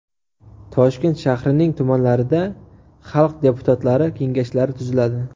Toshkent shahrining tumanlarida xalq deputatlari Kengashlari tuziladi.